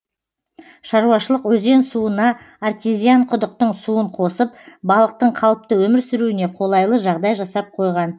шаруашылық өзен суына артезиан құдықтың суын қосып балықтың қалыпты өмір сүруіне қолайлы жағдай жасап қойған